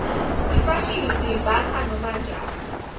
ifashini siyimbatsa noma njani